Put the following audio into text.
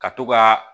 Ka to ka